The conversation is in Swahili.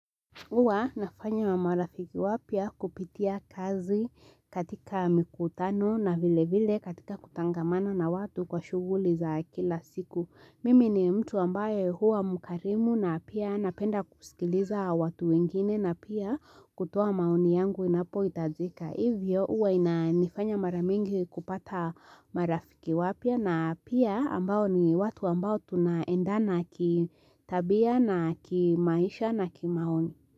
Huwa nafanya wa marafiki wapya kupitia kazi katika mikutano na vile vile katika kutangamana na watu kwa shuguli za kila siku. Mimi ni mtu ambaye huwa mkarimu na pia napenda kusikiliza watu wengine na pia kutoa maoni yangu inapoitajika. Hivyo huwa ina nifanya mara mingi kupata marafiki wapya na pia ambao ni watu ambao tuna endana ki tabia na ki maisha na ki maoni.